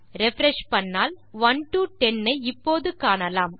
refresh செய்தால் நாம் 1 to 10 ஐ இப்போது காணலாம்